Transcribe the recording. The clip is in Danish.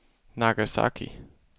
Nagasaki